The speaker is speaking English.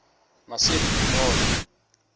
massif du nord